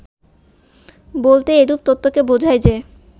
বলতে এরূপ তত্ত্বকে বোঝায় যে